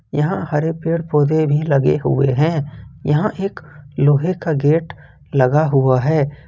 यहां हरे पेड़ पौधे भी लगे हुए हैं यहां एक लोहे का गेट लगा हुआ है।